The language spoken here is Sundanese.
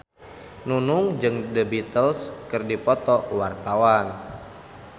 Nunung jeung The Beatles keur dipoto ku wartawan